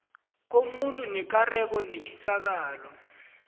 komuntu nekareko netjisakalo